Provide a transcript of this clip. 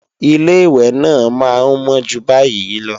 Ilé-ìwẹ̀ náà máa ń mọ́ jù báyìí lọ